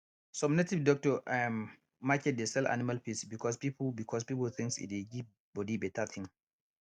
some native doctor um market dey sell animal piss because pipu because pipu think say e dey give bodi better ting